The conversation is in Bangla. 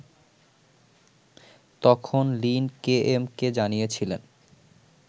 তখন লিন কেএমকে জানিয়েছিলেন